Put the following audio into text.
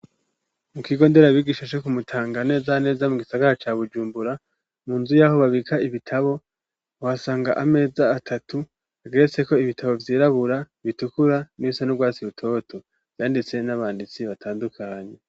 Mu kigo ndera bigisha co ku Mutanga, neza na neza mu gisagara ca Bujumbura, mu nzu yaho babika ibitabo, uhasanga ameza atatu ageretseko ibitabo vyirabura, bitukura, nibisa n'urwatsi rutoto vyanditswe n'abanditsi batandukanye.